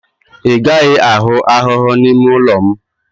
Ị gaghị ahụ ahụhụ n'ime ụlọ m